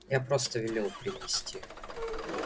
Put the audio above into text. я просто велел принести